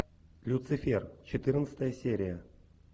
люцифер четырнадцатая серия